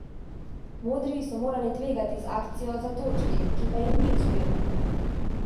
Modri so morali tvegati z akcijo za točki, ki pa jim ni uspela.